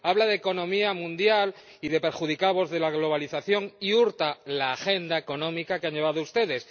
Habla de economía mundial y de perjudicados de la globalización y hurta la agenda económica que han llevado ustedes.